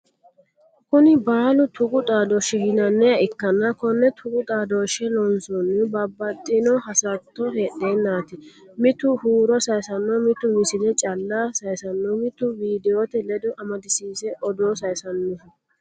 Kuni baallu tuqu xaadoshe yinanniha ikkanna kone tuqu xaadoshe loonsonnihu babbaxxino hasatto heedhennati mitu huuro sayisanoho mitu misile calla sayisanoho mitu videote ledo amadisiise odoo sayinsaniho.